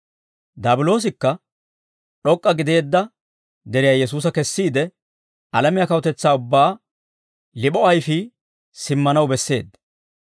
Daabiloosikka d'ok'k'a gideedda deriyaa Yesuusa kessiide alamiyaa kawutetsaa ubbaa lip'o ayfii simmanaw besseedda.